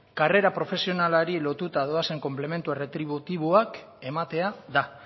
karrera profesionalari lotuta doazen konplementu erretributiboak ematea da